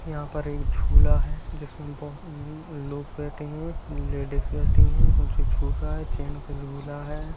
यहां पर एक झूला है जिसमे बहुत उम्म लोग बैठे है लेडीज बैठी है जो झूल रहा है चैन का झूला है।